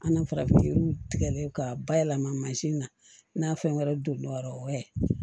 An na farafinw tigɛli k'a bayɛlɛma na fɛn wɛrɛ don yɔrɔ wɛrɛ